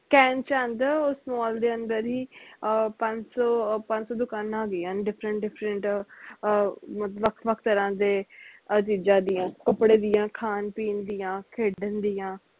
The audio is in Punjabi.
ਚਲਦਾ ਉਸ mall ਦੇ ਅੰਦਰ ਈ ਅਹ ਪੰਜ ਸੋ ਪੰਜ ਸੋ ਦੁਕਾਨਾਂ ਹੈਗੀਆਂ ਨੇ different different ਅਹ ਅਹ ਵੱਖ ਵੱਖ ਤਰ੍ਹਾਂ ਦੇ ਅਹ ਚੀਜ਼ਾਂ ਦੀਆ ਕੱਪੜੇ ਦੀਆ ਖਾਣ ਪੀਣ ਦੀਆ ਖੇਡਣ ਦੀਆ